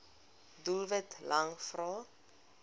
doelwit lang vrae